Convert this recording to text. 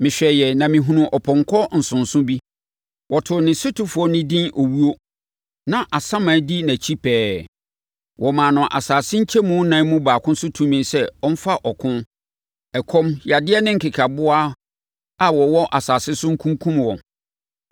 Mehwɛeɛ na mehunuu ɔpɔnkɔ nsonso bi. Wɔtoo ne sotefoɔ no din “Owuo”, na Asaman di nʼakyi pɛɛ. Wɔmaa no asase nkyɛmu nan mu baako so tumi sɛ ɔmfa ɔko, ɔkɔm, yadeɛ ne nkekaboa a wɔwɔ asase so nkunkum wɔn.